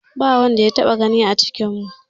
Ba wanda ya taɓa gani a cikinmu.